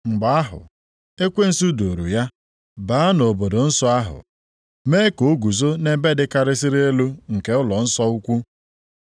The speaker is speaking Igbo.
Mgbe ahụ, ekwensu duuru ya baa nʼobodo nsọ ahụ, mee ka o guzo nʼebe dịkarịsịrị elu nke ụlọnsọ ukwu,